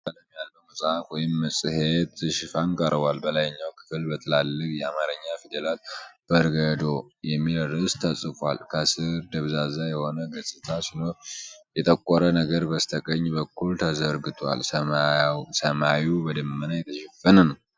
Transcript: ቡናማ ቀለም ያለው መጽሐፍ ወይም መጽሔት ሽፋን ቀርቧል። በላይኛው ክፍል በትላልቅ የአማርኛ ፊደላት 'በርገዶ' የሚል ርዕስ ተጽፏል። ከስር ደብዛዛ የሆነ ገጽታ ሲኖር የጠቆረ ነገር በስተቀኝ በኩል ተዘርግቷል። ሰማዩ በደመና የተሸፈነ ነው።